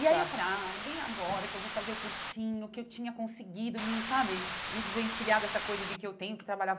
E aí eu falei, ah, bem agora que eu vou fazer o cursinho, que eu tinha conseguido me, sabe, me desvencilhar dessa coisa de que eu tenho que trabalhar.